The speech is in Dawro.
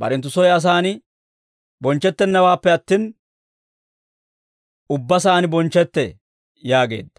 barenttu soy asaan bonchchettennawaappe attin, ubba saan bonchchetee» yaageedda.